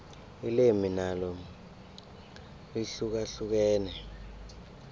ilimi nalo lihlukahlukene